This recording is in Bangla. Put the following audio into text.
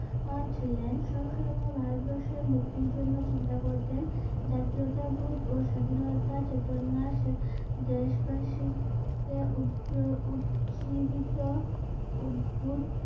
ছিলেন সবসময় ভারতবর্ষের মুক্তির জন্য চিন্তা করতেন জাতীয়তা বোধ ও স্বাধীনতা চেতনা দেশবাসী কে উচ্চ উৎজীবিত উদ্ভুত